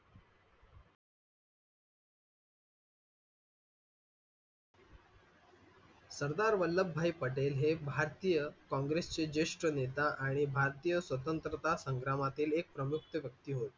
सरदार वल्लभ भाई पटेल हे भारतीय कांग्रेस चे ज्येष्ठ नेता आणि भारतीय स्वतंत्रता संग्रामातील एक प्रमुख व्यक्ती होते.